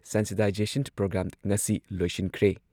Sensitisation programme ꯉꯁꯤ ꯂꯣꯏꯁꯤꯟꯈ꯭ꯔꯦ꯫